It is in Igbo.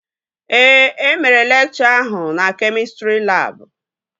Ee, emere lekchọ ahụ na kemịstrị labụ